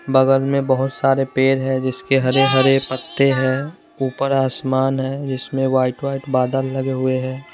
बगल में बहोत सारे पेड़ है जिसके हरे हरे पत्ते हैं ऊपर आसमान है जिसमें व्हाइट व्हाइट बादल लगे हुए हैं।